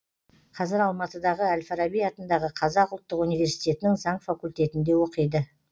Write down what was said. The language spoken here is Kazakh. қазір алматыдағы әл фараби атындағы қазақ ұлттық университетінің заң факультетінде оқиды